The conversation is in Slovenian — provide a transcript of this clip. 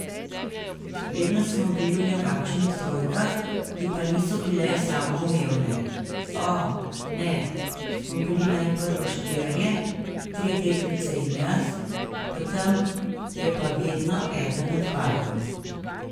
Vedno smo bili v nekakšnih trojkah, ki pa niso bile samoumevne, o, ne, smo bili najprvo štirje, tri deklice in jaz, potem je pa vedno eden odpadel.